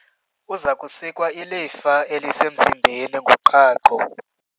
Uza kusikwa ilifa elisemzimbeni ngoqhaqho.